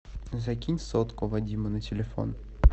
закинь сотку вадиму на телефон